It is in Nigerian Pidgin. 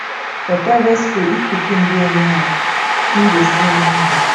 for private skool if pikin do anyhow em go see anyhow